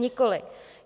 Nikoliv.